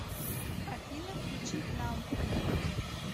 афина включи намб